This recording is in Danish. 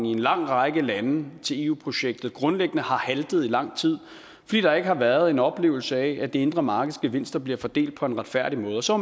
i en lang række lande til eu projektet grundlæggende har haltet i lang tid fordi der ikke har været en oplevelse af at det indre markeds gevinster bliver fordelt på en retfærdig måde så